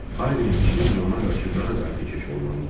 Harvinin fikrincə, ona qarşı daha qayğıkeş olmalı idilər.